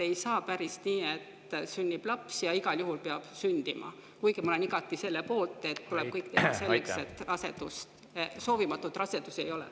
Ei saa ju päris nii, et laps peab igal juhul sündima, kuigi ma olen igati selle poolt, et tuleb teha kõik selleks, et soovimatuid rasedusi ei oleks.